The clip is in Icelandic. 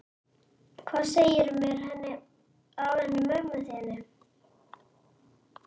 Hvað segirðu mér af henni mömmu þinni?